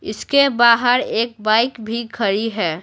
इसके बाहर एक बाइक भी खड़ी है।